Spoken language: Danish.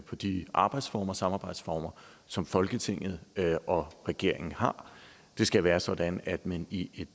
på de arbejdsformer og samarbejdsformer som folketinget og regeringen har det skal være sådan at man i et